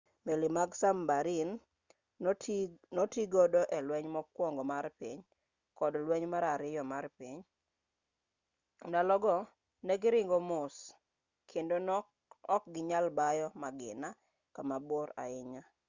meli mag sabmarin notigodo e lweny mokuongo mar piny kod lweny mar ariyo mar piny ndalo go ne giringo mos kendo ne okginyal bayo magina kamabor ahinya